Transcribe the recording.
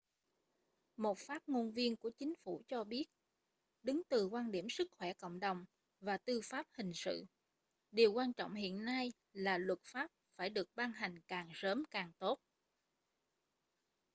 một phát ngôn viên của chính phủ cho biết đứng từ quan điểm sức khỏe cộng đồng và tư pháp hình sự điều quan trọng hiện nay là luật pháp phải được ban hành càng sớm càng tốt